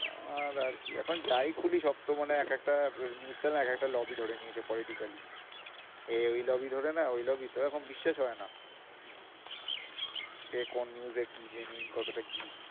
আর আর কি? এখন যাই খুলি সব তো মানে এক একটা news channel এক একটা lobby ধরে নিয়েছে politically এ ওই lobby ধরে নেয়, ওই lobby তো এখন বিশ্বাস হয় না কে কোন news এ কি genuine কতটা কি?